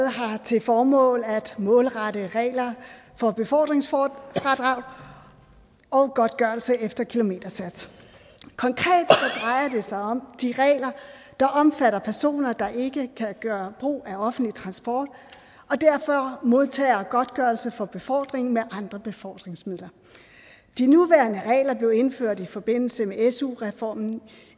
har til formål at målrette regler for befordringsfradrag og godtgørelse efter kilometersats konkret drejer det sig om de regler der omfatter personer der ikke kan gøre brug af offentlig transport og derfor modtager godtgørelse for befordring med andre befordringsmidler de nuværende regler blev indført i forbindelse med su reformen